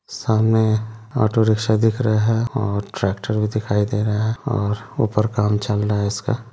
सामने auto rickshaw दिख रहे हैं और ट्रैक्टर भी दिखाई दे रहा है और ऊपर काम चल रहा है इसका।